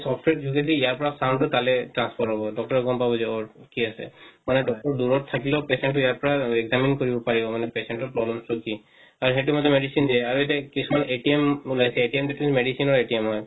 software যোগেদি দি ইয়াৰ পৰা sound টো কালে transfer হব doctor গম পাব যে ওৰ কি আছে মানে doctor দূৰত থাকিলে ও patient টো ইয়াৰ পৰা examine কৰিব পাৰিব মানে patient ৰ problems টো কি আৰু সেটো মতে medicine দিয়ে আৰু এতিয়া কিছুমান উলায়ছে সেইটো medicine ৰ হয়